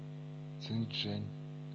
цинчжэнь